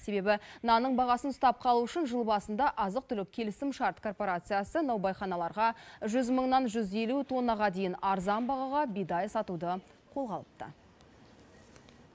себебі нанның бағасын ұстап қалу үшін жыл басында азық түлік келісімшарт корпорациясы наубайханаларға жүз мыңнан жүз елу тоннаға дейін арзан бағаға бидай сатуды қолға алыпты